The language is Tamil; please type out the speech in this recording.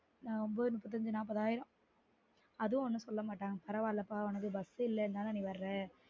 ஒன்பது முப்பத்தைந்து நாப்பது ஆயிடும் அது ஒன்னும் சொல்ல மாட்டாங்க பரவாயில்லப்பா உனக்கு bus இல்லனு தா நீ வரல